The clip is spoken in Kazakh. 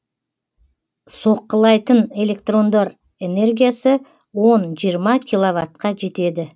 соққылайтын электрондар энергиясы он жиырма киловаттқа жетеді